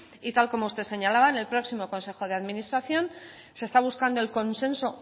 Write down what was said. y tal y como usted señalaba en el próximo consejo de administración se está buscando el consenso